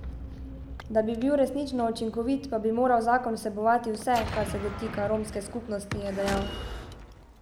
Da bi bil resnično učinkovit, pa bi moral zakon vsebovati vse, kar se dotika romske skupnosti, je dejal.